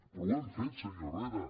però ho hem fet senyor herrera